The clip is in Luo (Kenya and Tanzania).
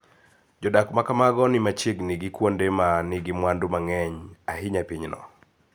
Jodak ma kamago ni machiegni gi kuonde ma nigi mwandu mang�eny ahinya e pinyno.